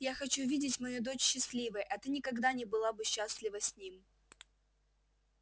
я хочу видеть мою дочь счастливой а ты никогда не была бы счастлива с ним